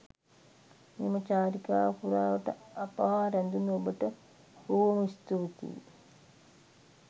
මෙම චාරිකාව පුරාවට අප හා රැඳුණු ඔබට බොහොම ස්තුතියි.